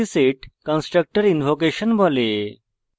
একে explicit constructor invocation বলা হয়